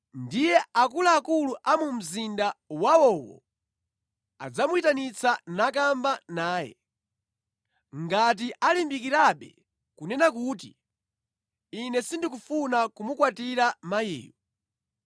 Pamenepo akuluakulu a mu mzinda wawowo adzamuyitanitsa nakamba naye. Ngati alimbikirabe kunena kuti, “Ine sindikufuna kumukwatira mkaziyu,”